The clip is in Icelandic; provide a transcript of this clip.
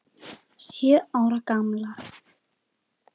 Sjö ára gamlar.